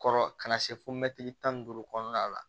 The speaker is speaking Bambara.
Kɔrɔ ka na se fo mɛtiri tan ni duuru kɔnɔna la